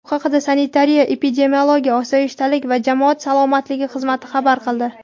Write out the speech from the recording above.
Bu haqda Sanitariya-epidemiologik osoyishtalik va jamoat salomatligi xizmati xabar qildi.